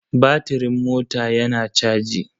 Batiring mota yana caji.